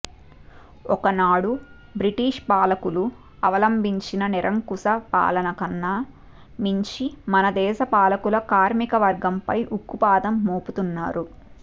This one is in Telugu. ఒకనాడు బ్రిటిష్ పాలకులు అవలంభించిన నిరంకుశ పాలనకన్నా మించి మనదేశ పాలకులు కార్మికవర్గంపై ఉక్కుపాదం మోపుతున్నారు